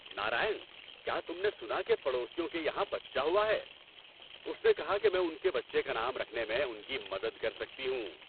نارائن، کیا تم نے سنا کہ پڑوسیوں کے یہاں بچہ ہوا ہے؟ اس نے کہا کہ میں ان کے بچے کا نام رکھنے میں ان کی مدد کر سکتی ہوں۔